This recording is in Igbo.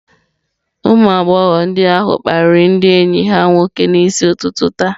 Ụmụ agbọghọ ndị ahụ kparịrị ndị enyi ha nwoke n'isi ụtụtụ taa.